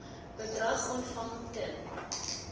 bedrag ontvang ten